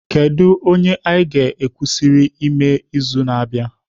Kedu onye anyị kwesịrị ime n'izu na-abịa?